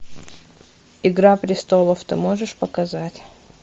игра престолов ты можешь показать